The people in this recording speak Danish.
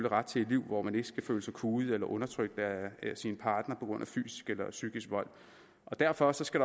ret til et liv hvor man ikke skal føle sig kuet eller undertrykt af sin partner på grund af fysisk eller psykisk vold derfor skal